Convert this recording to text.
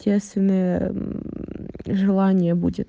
естественное желание будет